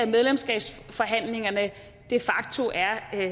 medlemskabsforhandlingerne de facto er